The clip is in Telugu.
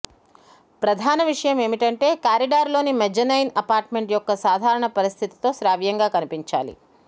ప్రధాన విషయం ఏమిటంటే కారిడార్లోని మెజ్జనైన్ అపార్ట్మెంట్ యొక్క సాధారణ పరిస్థితితో శ్రావ్యంగా కనిపించాలి